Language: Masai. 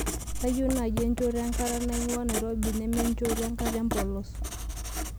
kayieu naaji enchoto enkata naing'ua nairobi neme enchoto enkata empolos